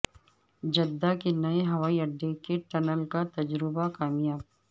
Jeddah کے نئے ہوائی اڈے کے ٹنل کا تجربہ کامیاب